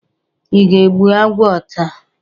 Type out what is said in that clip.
Ị ga-egbu agwọ taa?